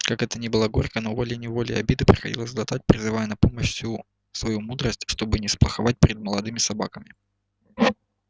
как это ни было горько но волей неволей обиды приходилось глотать призывая на помощь всю свою мудрость чтобы не сплоховать перед молодыми собаками